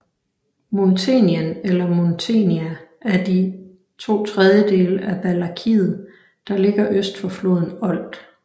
Muntenien eller Muntenia er de ⅔ af Valakiet der ligger øst for floden Olt